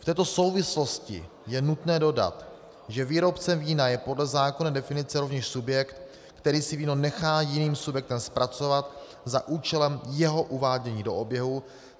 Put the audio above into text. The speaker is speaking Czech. V této souvislosti je nutné dodat, že výrobcem vína je podle zákona definice rovněž subjekt, který si víno nechá jiným subjektem zpracovat za účelem jeho uvádění do oběhu.